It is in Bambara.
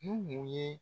Nuhun ye